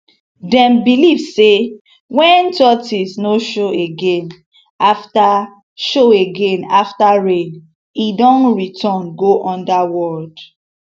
dem believe say when tortoise no show again after show again after rain e don return go underworld